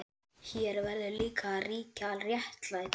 Hér verður líka að ríkja réttlæti.